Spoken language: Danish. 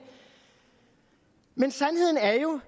men sandheden er jo